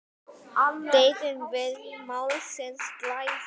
Deyðum við málsins glæður?